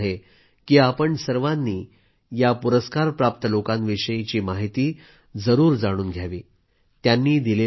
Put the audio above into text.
माझा आग्रह आहे की आपण सर्वांनी या पुरस्कारप्राप्त लोकांविषयी माहिती जरूर जाणून घ्यावी